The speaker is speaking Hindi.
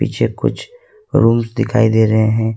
पीछे कुछ रूम्स दिखाई दे रहे है।